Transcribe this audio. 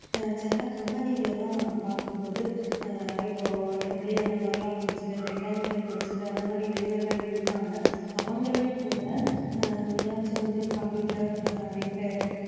அஹ் சில company ல எல்லாம் பார்க்கும் போது அஹ் இப்போ EEE அந்த மாதிரி எல்லாம் முடிச்சிட்டு mechanical முடிச்சிட்டு அந்த மாதிரி இளைஞர்கள் இருக்காங்க அவங்களே கூட அஹ் எதாச்சும் வந்து computer அஹ் repair